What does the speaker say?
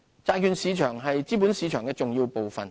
債券市場是資本市場的重要部分。